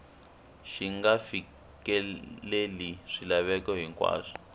xi nga fikeleli swilaveko hinkwaswo